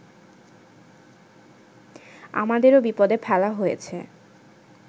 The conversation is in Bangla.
আমাদেরও বিপদে ফেলা হয়েছে